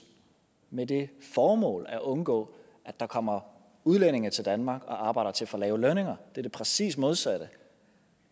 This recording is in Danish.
med det formål at undgå at der kommer udlændinge til danmark og arbejder til for lave lønninger det er præcis det modsatte